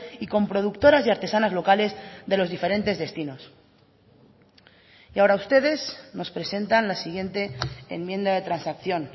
y con productoras y artesanas locales de los diferentes destinos y ahora ustedes nos presentan la siguiente enmienda de transacción